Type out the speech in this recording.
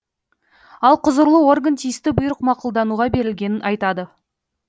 ал құзырлы орган тиісті бұйрық мақұлдануға берілгенін айтады